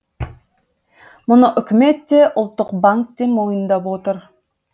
мұны үкімет те ұлттық банк те мойындап отыр